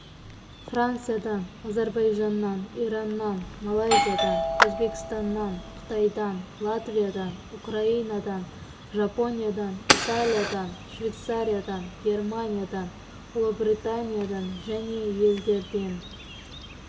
франциядан әзірбайжаннан ираннан малайзиядан өзбекстаннан қытайдан латвиядан украинадан жапониядан италиядан швейцариядан германиядан ұлыбританиядан және елдерден